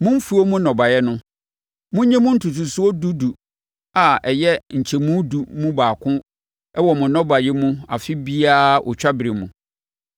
Mo mfuo mu nnɔbaeɛ no, monyi mu ntotosoɔ dudu a ɛyɛ nkyɛmu edu mu baako wɔ mo nnɔbaeɛ mu afe biara otwaberɛ mu.